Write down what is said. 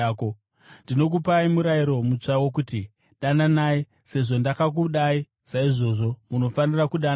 “Ndinokupai murayiro mutsva wokuti: Dananai. Sezvo ndakakudai, saizvozvo munofanira kudanana.